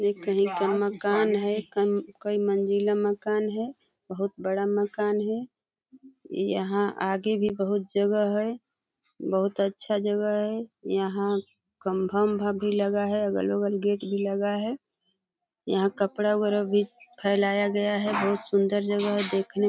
ये कही का माकन है। कम कई मंजिला माकन है। बहुत बड़ा माकन है। यहाँ आगे भी बहुत जगह है। बहुत अच्छा जगह है। यहाँ कंभा भा भी लगा है। अगल बगल गेट भी लगा है। यहाँ कपड़ा वगेरा भी फैलाया गया हैं। बहुत सुन्दर जगह है देखने --